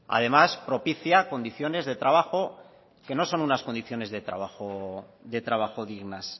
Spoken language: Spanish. además propicia condiciones de trabajo que no son unas condiciones de trabajo dignas